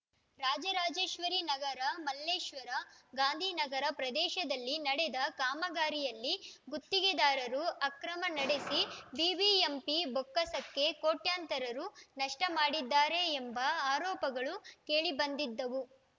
ರಾಜರಾಜೇಶ್ವರಿನಗರ ಮಲ್ಲೇಶ್ವರ ಗಾಂಧಿನಗರ ಪ್ರದೇಶದಲ್ಲಿ ನಡೆದ ಕಾಮಗಾರಿಯಲ್ಲಿ ಗುತ್ತಿಗೆದಾರರು ಅಕ್ರಮ ನಡೆಸಿ ಬಿಬಿಎಂಪಿ ಬೊಕ್ಕಸಕ್ಕೆ ಕೋಟ್ಯಂತರ ರು ನಷ್ಟಮಾಡಿದ್ದಾರೆ ಎಂಬ ಆರೋಪಗಳು ಕೇಳಿಬಂದಿದ್ದವು